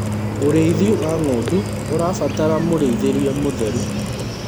ũrĩithi wa ng'ondu ũrabatara mũrĩithirie mũtheru